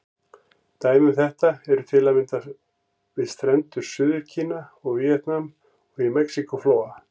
Dæmi um þetta eru til að mynda við strendur Suður-Kína og Víetnam, og í Mexíkó-flóa.